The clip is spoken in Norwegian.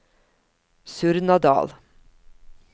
Surnadal